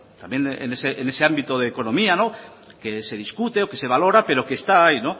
también en ese ámbito de economía que se discute o que se valora pero que está ahí